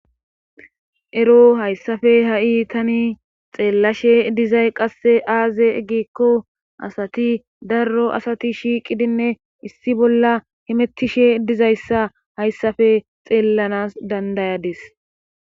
ero hayssafe ha7i tani xeellashe dizay qasse aaze eggikko asati darro asati shiiqidinne issi bolla himettishe dizayssa hayssafe xeellanas dandayadis